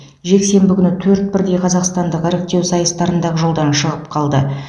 жексенбі күні төрт бірдей қазақстандық іріктеу сайыстарында ақ жолдан шығып қалды